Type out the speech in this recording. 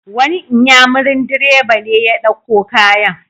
Wani inyamurin direba ne ya dauko kayan.